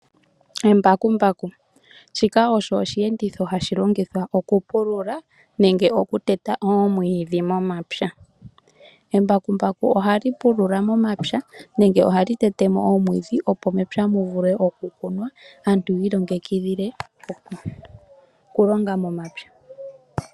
Embakumbaku shika osho oshiyenditho hashi longithwa okupulula nenge okuteta omwiidhi momapya. Embakumbaku ohali pulula momapya nenge ohali tetemo omwiidhi opo mepye muvule okukunwa aantu yi ilongekidhile okulonga momapya.